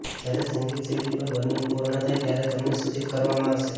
જ્યારે સંગીત સીડી પર બર્નિંગ પૂર્ણ થાય ત્યારે તમને સૂચિત કરવામાં આવશે